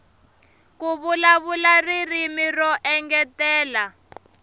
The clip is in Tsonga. ku vulavula ririmi ro engetela